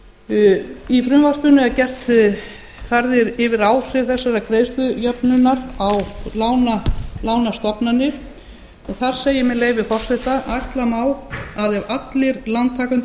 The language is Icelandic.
um í frumvarpinu er farið yfir áhrif þessarar greiðslujöfnunar á lánastofnanir og þar segir með leyfi forseta ætla má að ef allir lántakendur